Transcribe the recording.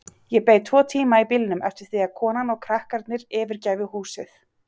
Ég beið tvo tíma í bílnum eftir því að konan og krakkarnir yfirgæfu húsið.